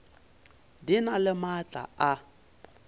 di na le maatla a